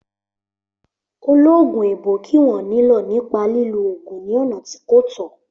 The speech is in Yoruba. Ológun èèbó kì wọ́n nílọ̀ nípa lílo ògùn ní ọ̀nà tí kò tọ́